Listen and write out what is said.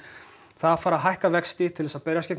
það að fara hækka vexti til að berjast við